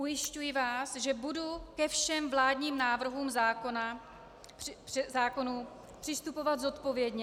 Ujišťuji vás, že budu ke všem vládním návrhům zákonů přistupovat zodpovědně.